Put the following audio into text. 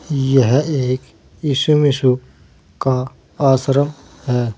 यह एक इशू मिशु का आश्रम है।